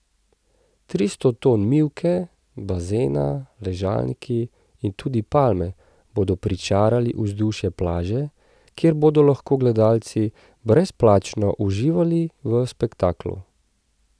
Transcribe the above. Tristo ton mivke, bazena, ležalniki in tudi palme bodo pričarali vzdušje plaže, kjer bodo lahko gledalci brezplačno uživali v spektaklu.